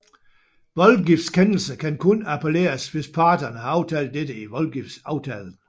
Voldgiftskendelser kan kun appelleres hvis parterne har aftalt dette i voldgiftsaftalen